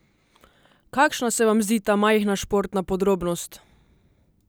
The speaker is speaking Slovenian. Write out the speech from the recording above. Kakšna se vam zdi ta majhna športna podrobnost?